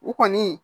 U kɔni